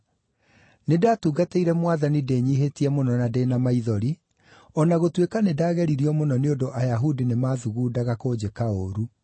Nĩndatungatĩire Mwathani ndĩnyiihĩtie mũno na ndĩ na maithori, o na gũtuĩka nĩndageririo mũno nĩ ũndũ Ayahudi nĩmaathugundaga kũnjĩka ũũru.